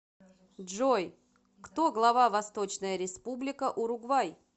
джой кто глава восточная республика уругвай